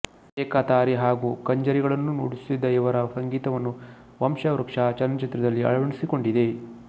ಏಕತಾರಿ ಹಾಗೂ ಕಂಜರಿಗಳನ್ನೂ ನುಡಿಸುತ್ತಿದ್ದ ಇವರ ಸಂಗೀತವನ್ನು ವಂಶವೃಕ್ಷ ಚಲನಚಿತ್ರದಲ್ಲಿ ಅಳವಡಿಸಿಕೊಂಡಿದೆ